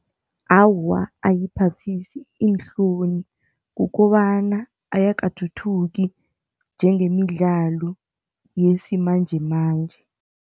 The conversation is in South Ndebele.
Awa, ayiphathisi iinhloni. Kukobana ayakathuthuki njengemidlalo yesimanjemanje.